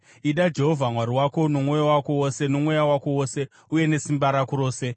Ida Jehovha Mwari wako nomwoyo wako wose nomweya wako wose uye nesimba rako rose.